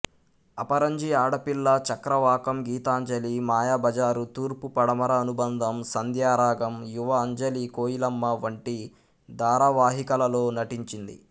అపరంజి ఆడపిల్ల చక్రవాకం గీతాంజలి మాయాబజార్ తూర్పు పడమర అనుబంధం సంధ్యారాగం యువ అంజలి కోయిలమ్మ వంటి ధారావాహికలలో నటించింది